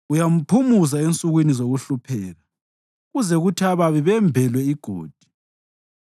uyamphumuza ensukwini zokuhlupheka, kuze kuthi ababi bembelwe igodi.